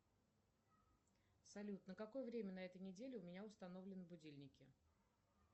салют на какое время на этой неделе у меня установлены будильники